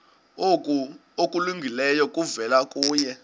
okulungileyo kuvela kuye